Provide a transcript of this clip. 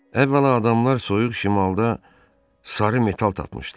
Əvvəla, adamlar soyuq şimalda sarı metal tapmışdılar.